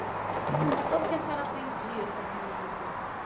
Como é que a senhora aprendia essas músicas?